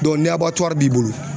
ni b'i bolo